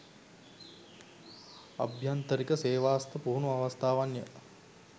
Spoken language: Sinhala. අභ්‍යන්තරික සේවාස්ථ පුහුණු අවස්ථාවන්ය